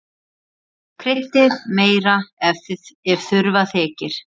Kryddið meira ef þurfa þykir.